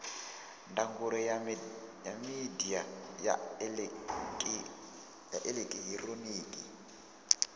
ndangulo ya midia ya elekihironiki